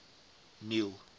neil